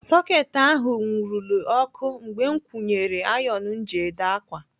Soketị ahụ nwurule ọkụ mgbe m kwunyere ayon m ji ede ákwà.